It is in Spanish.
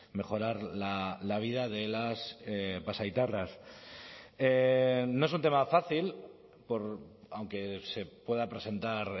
mejorar la vida de las pasaitarras no es un tema fácil aunque se pueda presentar